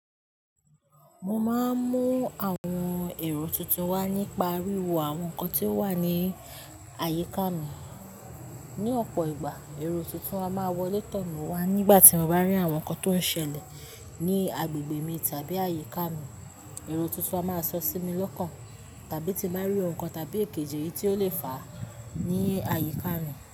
Mo máa ń mú àwọn èrò tuntun wá nípa wíwo àwọn nǹkan tí ó wà ní àyíká mi. Ni ọ̀pọ̀ ìgbà, èrò tuntun a máa wọlé tọ̀ mí wá nígbà tí mo bá rí àwọn nǹkan tó ń ṣẹlẹ̀ ní agbègbè mi tàbí àyíká mi. Èrò tuntun a máa sọ sí mi lọ́kàn tàbí tí mo bá rí ohun kan tàbí èkejì ẹni tí ó lè fàá ní àyíká mi.